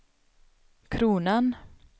kronan